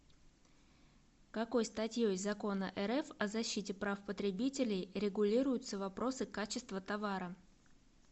какой статьей закона рф о защите прав потребителей регулируются вопросы качества товара